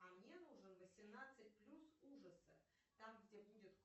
а мне нужен восемнадцать плюс ужасы там где будет